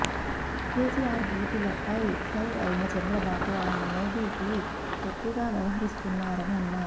కేసిఆర్ బూతులపై ఫైర్ అయిన చంద్రబాబు ఆయన మోదీకి తొత్తులా వ్యవహరిస్తున్నరని అన్నారు